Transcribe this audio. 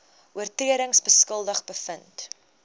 oortredings skuldig bevind